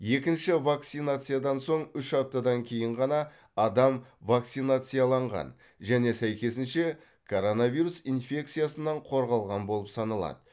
екінші вакцинациядан соң үш аптадан кейін ғана адам вакцинацияланған және сәйкесінше коронавирус инфекциясынан қорғалған болып саналады